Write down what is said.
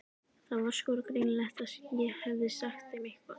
Það var sko greinilegt að ég hefði sagt þeim eitthvað.